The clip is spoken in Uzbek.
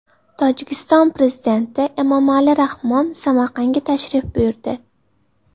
Tojikiston prezidenti Emomali Rahmon Samarqandga tashrif buyurdi.